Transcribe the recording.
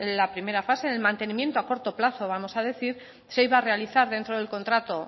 la primera fase el mantenimiento a corto plazo vamos a decir se iba a realizar dentro del contrato